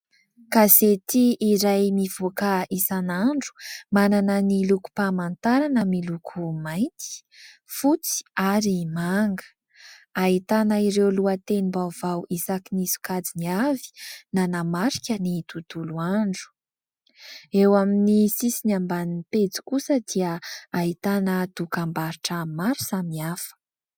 Gazety iray mivoaka isan'andro manana ny lokom-pamantarana miloko mainty, fotsy ary manga, ahitana ireo lohatenim-baovao isakin'ny sokajiny avy nanamarika ny tontolo andro ; eo amin'ny sisiny ambany pejy kosa dia ahitana dokam-barotra maro samihafa.